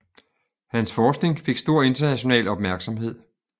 Hans forskning fik stor international opmærksomhed